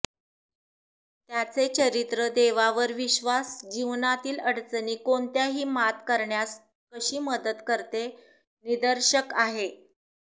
त्याचे चरित्र देवावर विश्वास जीवनातील अडचणी कोणत्याही मात करण्यास कशी मदत करते निदर्शक आहे